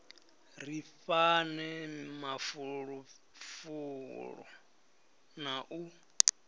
ri fhane mafulufulo na u